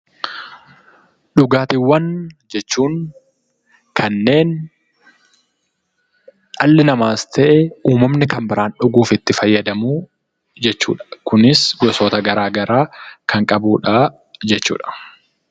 Dhugaatiiwwan jechuun kanneen dhalli namaas ta'e, uumamni kan biraan dhuguuf itti fayyadamu jechuu dha. Kunis gosoota garaagaraa kan qabuu dhaa jechuu dha.